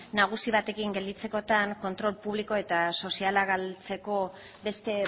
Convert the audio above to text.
nagusi batekin gelditzekotan kontrol publiko eta soziala galtzeko beste